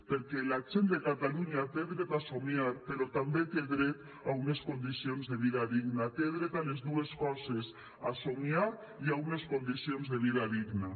perquè la gent de catalunya té dret a somiar però també té dret a unes condicions de vida digna té dret a les dues coses a somiar i a unes condicions de vida digna